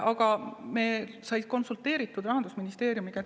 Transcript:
Aga me konsulteerisime Rahandusministeeriumiga.